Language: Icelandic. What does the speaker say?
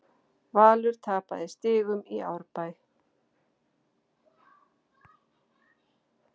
Valur tapaði stigum í Árbæ